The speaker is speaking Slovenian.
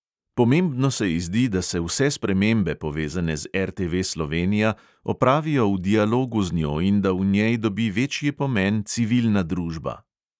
Pomembno se ji zdi, da se vse spremembe, povezane z RTV slovenija, opravijo v dialogu z njo in da v njej dobi večji pomen civilna družba.